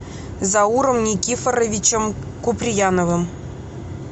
зауром никифоровичем куприяновым